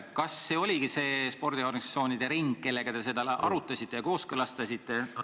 Kas see oligi see spordiorganisatsioonide ring, kellega te seda arutasite ja kooskõlastasite?